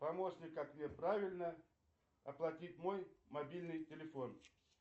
помощник как мне правильно оплатить мой мобильный телефон